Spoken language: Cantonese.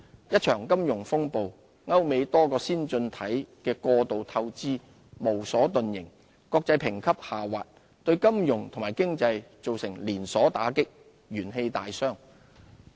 一場金融風暴，歐美多個先進經濟體的過度透支無所遁形，國際評級下滑，對金融和經濟造成連鎖打擊，元氣大傷。